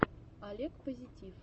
олег позитив